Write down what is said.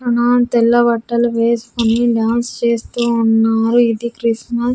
తెల్ల బట్టలు వేసుకుని డాన్స్ చేస్తూ ఉన్నారు ఇది క్రిస్మస్ --